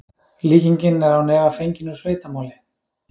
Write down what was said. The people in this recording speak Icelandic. Líkingin er án efa fengin úr sveitamáli.